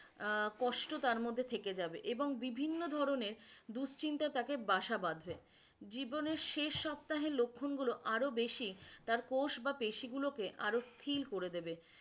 আহ কষ্ট তার মধ্যে থেকে যাবে এবং বিভিন্ন ধরণের দুশ্চিন্তা তাতে বাসা বাধবে জীবনের শেষ সপ্তাহের লক্ষণগুলো আরো বেশি তার কোষ বা পেশিগুলোকে আরো স্থির করে দেবে